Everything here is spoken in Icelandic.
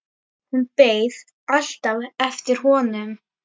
Hún beið alltaf eftir honum.